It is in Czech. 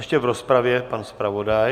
Ještě v rozpravě pan zpravodaj.